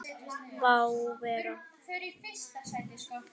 Má vera.